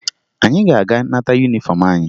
Anyị ga-aga nata yunifọmụ anyị